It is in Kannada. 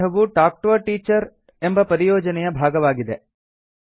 ಈ ಪಾಠವು ಟಾಲ್ಕ್ ಟಿಒ a ಟೀಚರ್ ಎಂಬ ಪರಿಯೋಜನೆಯ ಭಾಗವಾಗಿದೆ